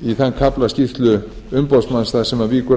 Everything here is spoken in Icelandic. í þann kafla skýrslu umboðsmanns þar sem hann víkur að